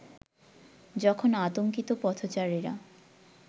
যখন আতঙ্কিত পথচারীরা